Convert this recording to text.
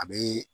A bee